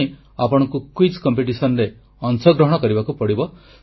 କିନ୍ତୁ ଏଥିପାଇଁ ଆପଣଙ୍କୁ ଏହି ପ୍ରତିଯୋଗିତାରେ ଅଂଶଗ୍ରହଣ କରିବାକୁ ପଡ଼ିବ